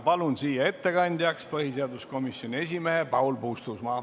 Palun siia ettekandjaks põhiseaduskomisjoni esimehe Paul Puustusmaa.